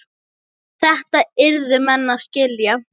Þetta yrðu menn að skilja.